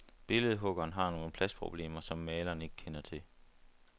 Billedhuggeren har nogle pladsproblemer, som malerne ikke kender til.